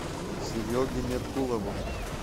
сереге меркулову